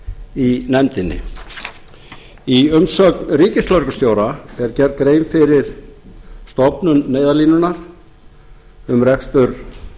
í nefndinni í umsögn ríkislögreglustjóra er gerð grein fyrir stofnun neyðarlínunnar um rekstur